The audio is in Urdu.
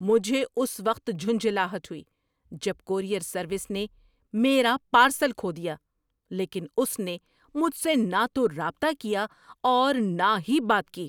مجھے اس وقت جھنجھلاہٹ ہوئی جب کورئیر سروس نے میرا پارسل کھو دیا لیکن اس نے مجھ سے نہ تو رابطہ کیا اور نہ ہی بات کی۔